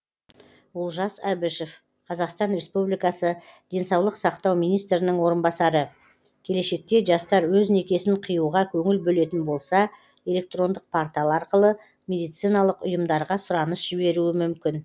олжас әбішев қазақстан республикасы денсаулық сақтау министрінің орынбасары келешекте жастар өз некесін қиюға көңіл бөлетін болса электрондық портал арқылы медициналық ұйымдарға сұраныс жіберуі мүмкін